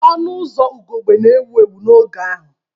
Ọnụ ụzọ ugogbe na-ewu ewu n'oge ahụ.